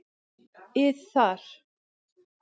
ið þar.